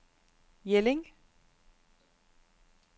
Jelling